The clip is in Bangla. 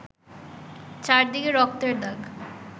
চারদিকে রক্তের দাগ